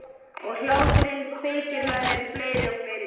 Og hláturinn kveikir með mér fleiri og fleiri myndir.